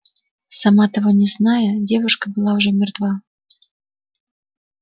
сама того не зная девушка была уже мертва